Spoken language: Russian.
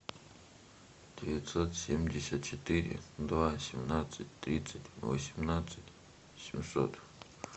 девятьсот семьдесят четыре два семнадцать тридцать восемнадцать семьсот